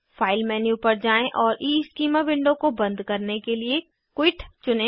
file menu पर जाएँ और ईस्कीमा विंडो को बंद करने के लिए क्विट चुनें